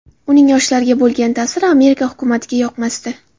Uning yoshlarga bo‘lgan ta’siri Amerika hukumatiga yoqmasdi.